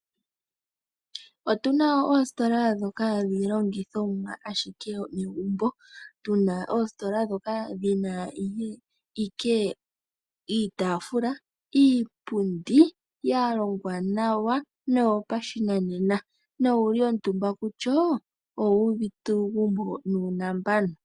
Otu na oositola ndhoka hadhi landitha iilandithomwa ashike yomagumbo, tu na oositola ndhoka dhina na owala iitafula niipundi ya longwa nawa noyopashinanena na ngele wa kuutumba kusho, owuuvite uugumbo nuunambano.